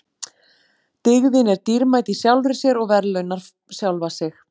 Dygðin er dýrmæt í sjálfri sér og verðlaunar sjálfa sig.